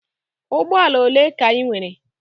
Ụgbọala ole ka I nwere?